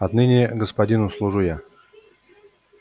отныне господину служу я